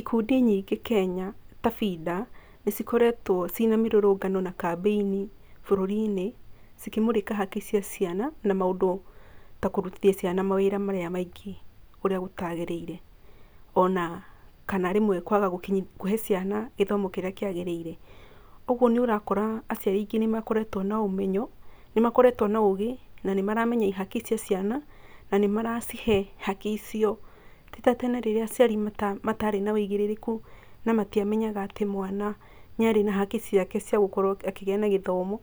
Ikundi nyingĩ Kenya ta FIDA, nĩ cikoretwe cina mĩrũrũngano na kambĩ-inĩ bũrũrinĩ cikĩmũrĩka haki cia ciana na maũndũ ta kũrũtithia ciana mawĩra marĩa maingĩ ũrĩa ũtagĩrĩire ona rĩmwe kwaga kũhe ciana gĩthomo kĩrĩa kĩagĩrĩire. Ũguo nĩũrakora aciari aingĩ nĩ makoretwo na ũmenyo, nĩ makoretwo na ũgĩ na nĩ maramenya haki cia ciana na nĩmaracihe haki icio, tĩ ta tene rĩrĩa aciari matĩarĩ na ũigĩrĩrĩku na matiamenyaga atĩ mwana nĩ arĩ na haki ciake ciagũkorwo akĩgĩa na gĩthomo,